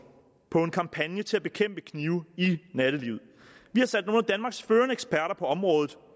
på en kampagne til at bekæmpe knive i nattelivet vi har sat nogle af danmarks førende eksperter på området